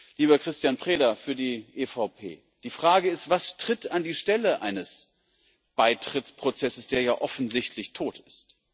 Lieber Cristian Preda von der EVP Die Frage ist, was tritt an die Stelle eines Beitrittsprozesses, der ja offensichtlich tot ist?